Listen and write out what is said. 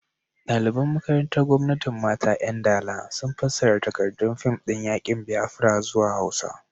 Daliban makarantar Gwamnatin Mata 'Yan Dala sun fassara takardun fim din yakin Biafra zuwa Hausa.